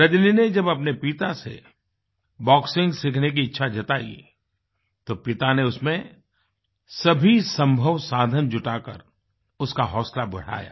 रजनी ने जब अपने पिता से बॉक्सिंग सीखने की इच्छा जताई तो पिता ने उसमें सभी संभव साधन जुटा कर उसका हौसला बढ़ाया